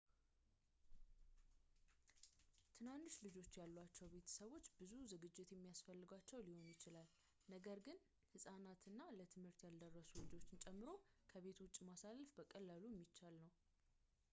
ትናንሽ ልጆች ያሏቸው ቤተሰቦች ብዙ ዝግጅት የሚያስፈልጋቸው ሊሆን ይችላል ነገር ግን ሕፃናት እና ለትምህርት ያልደረሱ ልጆች ጨምሮ ከቤት ውጭ ማሳለፍ በቀላሉ የሚቻል ነው